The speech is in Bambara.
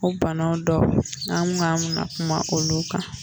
O bana dɔw n'an ko an bɛ na kuma olu kan.